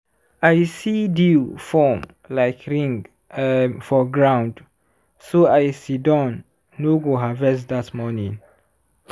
i see dew form like ring um for ground so i sidon no go harvest that morning.